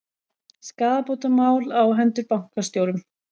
Skaðabótamál á hendur bankastjórum